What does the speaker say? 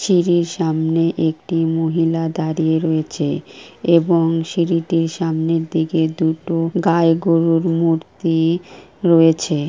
সিঁড়ির সামনে একটি মহিলা দাঁড়িয়ে রয়েছে এবং সিঁড়িটির সামনের দিকে দুটো গায় গরুর মূর্তি রয়েছে।